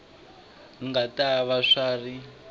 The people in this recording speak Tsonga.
nga ta va swi ri